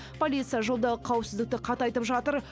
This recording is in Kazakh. полиция жолдағы қауіпсіздікті қатайтып жатыр